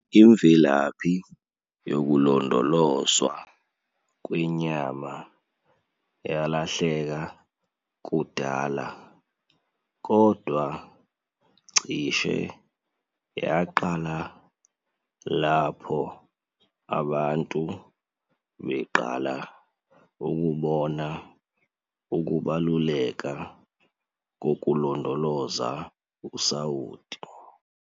Imvelaphi yokulondolozwa kwenyama yalahleka kudala kodwa cishe yaqala lapho abantu beqala ukubona ukubaluleka kokulondoloza usawoti.